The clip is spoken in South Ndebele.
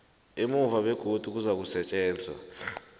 emuva begodu kuzakusetjenzwa